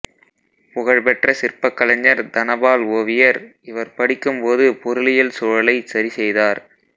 புகழ் பெற்ற சிற்பக் கலைஞர் தனபால் ஓவியர் இவர் படிக்கும்போது பொருளியல் சூழலைச் சரி செய்தார்